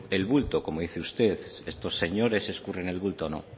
el bulto como dice usted estos señores escurren el bulto no